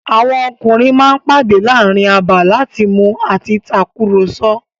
Àwọn ọkùnrin ma ń pàdé láàrin abà láti mu àti takùrọ̀sọ̀.